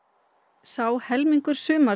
sá helmingur sumars